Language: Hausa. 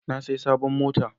Na saya sabon mota